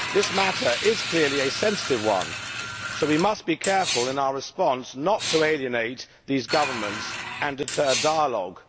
This matter is clearly a sensitive one, so we must be careful in our response not to alienate these governments and deter dialogue.